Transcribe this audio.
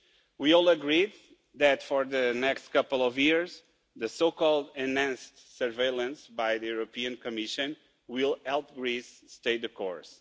We all agree that for the next couple of years, the so-called enhanced surveillance by the European Commission will help Greece stay the course.